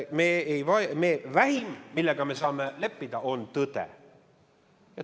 Vähim, millega me saame leppida, on tõde.